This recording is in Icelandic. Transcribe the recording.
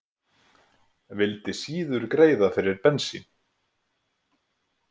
Vildi síður greiða fyrir bensín